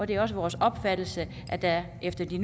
det er også vores opfattelse at der efter de